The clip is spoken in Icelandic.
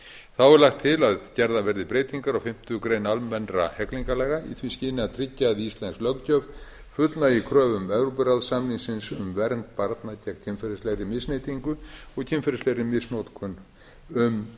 þá er lagt til að gerðar verði breytingar á fimmtu grein almennra hegningarlaga í því skyni a tryggja að íslensk löggjöf fullnægi kröfum evrópuráðssamningsins um vernd barna gegn kynferðislegri misneytingu og kynferðislegri misnotkun um